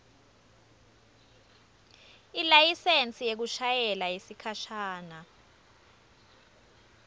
ilayisensi yekushayela yesikhashana